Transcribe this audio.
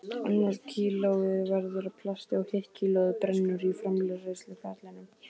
Annað kílóið verður að plasti og hitt kílóið brennur í framleiðsluferlinu.